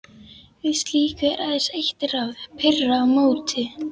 Við slíku er aðeins eitt ráð: pirra á móti.